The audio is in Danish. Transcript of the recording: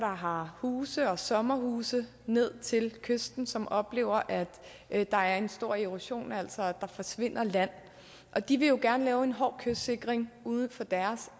har huse eller sommerhuse ned til kysten og som oplever at der er en stor erosion altså at der forsvinder land de vil jo gerne lave en hård kystsikring uden for deres